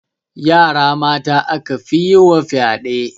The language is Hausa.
Yara mata aka fi yi wa fyaɗe